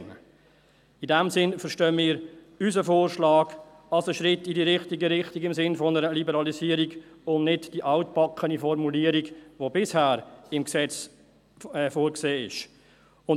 In diesem Sinn verstehen wir unseren Vorschlag als Schritt in die richtige Richtung, im Sinn einer Liberalisierung, und wollen nicht die altbackene Formulierung, die bisher im Gesetz vorgesehen ist.